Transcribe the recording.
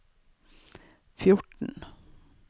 fjorten